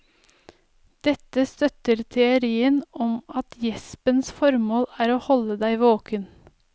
Dette støtter teorien om at gjespens formål er å holde deg våken.